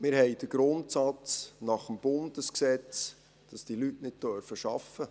Wir haben den Grundsatz aus dem Bundesgesetz, dass diese Leute nicht arbeiten dürfen.